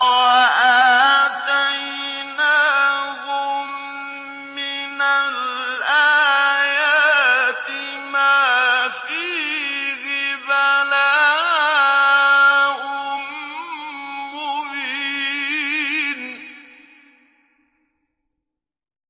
وَآتَيْنَاهُم مِّنَ الْآيَاتِ مَا فِيهِ بَلَاءٌ مُّبِينٌ